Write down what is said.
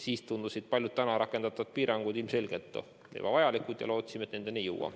Siis tundusid paljud täna rakendatud piirangud ilmselgelt ebavajalikud ja me lootsime, et nendeni me ei jõua.